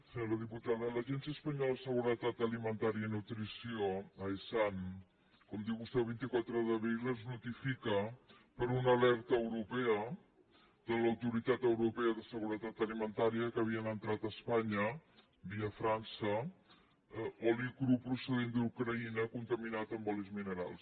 senyora diputada a l’agència espanyola de seguretat alimentària i nutrició aesan com diu vostè el vint quatre d’abril es notifica per una alerta europea de l’autoritat europea de seguretat alimentària que havia entrat a espanya via frança oli cru procedent d’ucraïna contaminat amb olis minerals